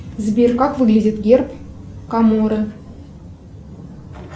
сбер как выглядит герб коморы